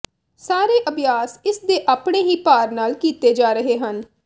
ਸਾਰੇ ਅਭਿਆਸ ਇਸ ਦੇ ਆਪਣੇ ਹੀ ਭਾਰ ਨਾਲ ਕੀਤੇ ਜਾ ਰਹੇ ਹਨ